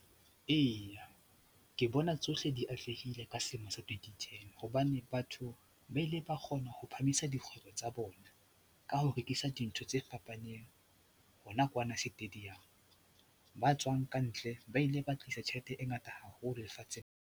Eya, ke bona tsohle di atlehile ka selemo sa 2010 hobane batho ba ile ba kgona ho phahamisa dikgwebo tsa bona ka ho rekisa dintho tse fapaneng hona kwana stadium, ba tswang ka ntle ba ile ba tlisa tjhelete e ngata haholo lefatsheng.